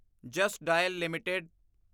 just Dial LTD